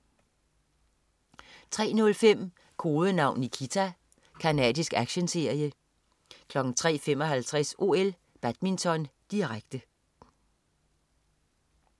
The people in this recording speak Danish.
03.05 Kodenavn Nikita. Canadisk actionserie 03.55 OL: Badminton, direkte